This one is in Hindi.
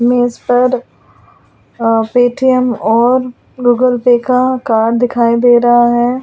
मेज़ पर पेटीऍम और गूगल पे का कार्ड दिखाई दे रहा है।